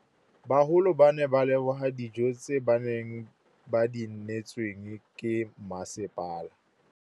Bagolo ba ne ba leboga dijô tse ba do neêtswe ke masepala.